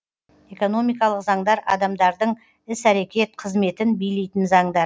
экономикалық заңдар адамдардын іс әрекет қызметін билейтін заңдар